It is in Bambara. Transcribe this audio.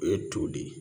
O ye to de ye